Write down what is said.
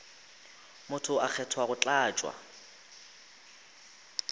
motho a kgethwa go tlatša